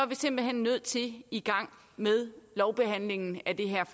vi simpelt hen nødt til at i gang med lovbehandlingen af det her